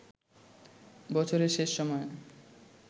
বছরের শেষ সময়ে